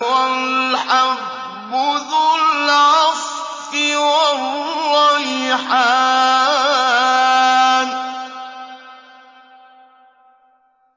وَالْحَبُّ ذُو الْعَصْفِ وَالرَّيْحَانُ